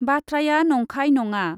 बाथ्राया नंखाय नङा ।